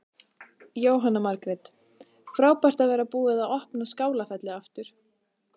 Jóhanna Margrét: Frábært að vera búið að opna Skálafelli aftur?